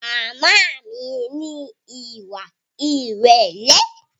Màmá mi ní ìwà ìrẹ̀lẹ́